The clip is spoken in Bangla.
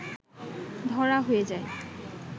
ধরা হয়ে যায়